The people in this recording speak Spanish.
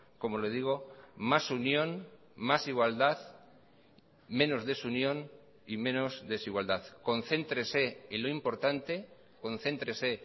como le digo más unión más igualdad menos desunión y menos desigualdad concéntrese en lo importante concéntrese